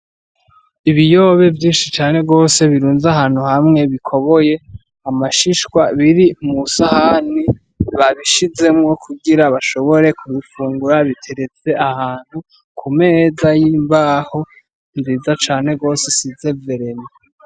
Ibiyobe vyinshi cane gose birunza ahantu hamwe bikoboye amashishwa biri mu sahani babishizemwo kugira bashobore ku bifungura biteretse ahantu ku meza y'imbaho nziza cane gose isize vereni.